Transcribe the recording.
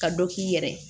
Ka dɔ k'i yɛrɛ ye